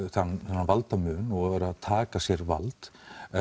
þennan valdamun og verið að taka sér vald